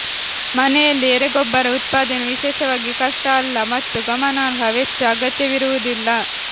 ಮನೆಯಲ್ಲಿ ಎರೆಗೊಬ್ಬರ ಉತ್ಪಾದನೆ ವಿಶೇಷವಾಗಿ ಕಷ್ಟ ಅಲ್ಲ ಮತ್ತು ಗಮನಾರ್ಹ ವೆಚ್ಚ ಅಗತ್ಯವಿರುವುದಿಲ್ಲ